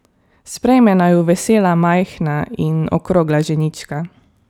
Sprejme naju vesela majhna in okrogla ženička.